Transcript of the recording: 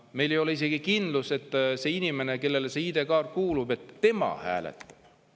Meil ei ole isegi kindlust, et see inimene, kellele see ID-kaart kuulub, hääletab.